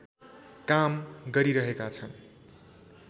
काम गरिरहेका छन्